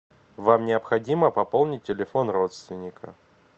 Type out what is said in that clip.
вам необходимо пополнить телефон родственника